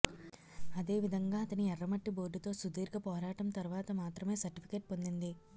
అదే విధంగా అతని ఎర్రమట్టి బోర్డుతో సుదీర్ఘ పోరాటం తర్వాత మాత్రమే సర్ట్ఫికెట్ పొందింది